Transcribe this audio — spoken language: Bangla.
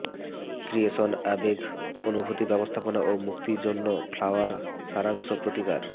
ক্রিয়েশন আবেগ অনুভূতি ব্যবস্থাপনা এবং মুক্তি জন্য ফ্লাওয়ার সারাংশ প্রতিকার